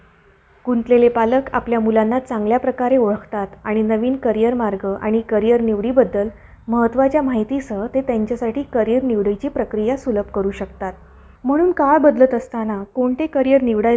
गुंतलेले पालक आपल्या मुलांना चांगल्या प्रकारे ओळखतात आणि नवीन career मार्ग आणि career निवडीबद्दल महत्वाच्या माहितीसह ते त्यांच्यासाठी career निवडीची प्रक्रिया सुलभ करु शकतात. म्हणून काळ बदलत असताना कोणते career निवडायचे?